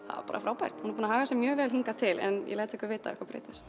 bara frábært hún er búin að haga sér mjög vel hingað til en ég læt ykkur vita ef eitthvað breytist